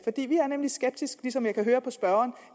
vi er nemlig skeptiske som jeg kan høre spørgeren